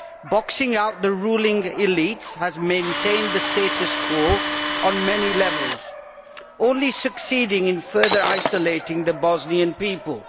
Boxing out the ruling elites has maintained the status quo on many levels, only succeeding in further isolating the Bosnian people.